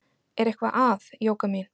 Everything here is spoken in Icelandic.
Er eitthvað að, Jóka mín?